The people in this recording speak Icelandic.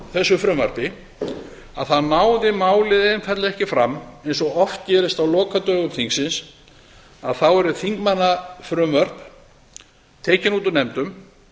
þessu frumvarpi að þá náði málið einfaldlega ekki fram eins og oft gerist á lokadögum þingsins að þá eru þingmannafrumvörp tekin út úr nefndum